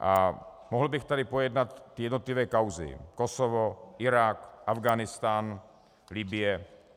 A mohl bych tady pojednat jednotlivé kauzy: Kosovo, Irák, Afghánistán, Libye.